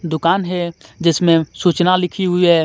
दूकान हे जिसमे सुचना लिखी हुई हे.